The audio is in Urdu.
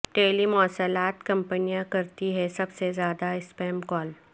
ٹیلی مواصلات کمپنیاں کرتی ہیں سب سے زیادہ اسپیم کال